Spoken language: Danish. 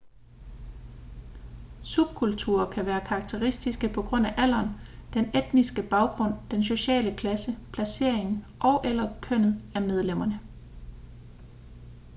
subkulturer kan være karakteristiske på grund af alderen den etniske baggrund den sociale klasse placeringen og/eller kønnet af medlemmerne